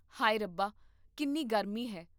ਹਾਏ ਰੱਬਾ, ਕਿੰਨੀ ਗਰਮੀ ਹੈ